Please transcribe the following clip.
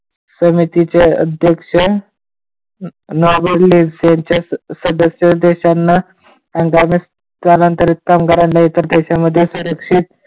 समितिचे अध्यक्ष नागोले यांच्या सदस्य देशांना स्थलांतरित कामगारांना इतर देशामध्ये सुरक्षित,